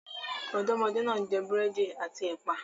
Ọmọdébìnrin náà ń jẹ búrẹ́dì àti ẹ̀pà.